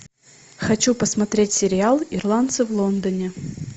хочу посмотреть сериал ирландцы в лондоне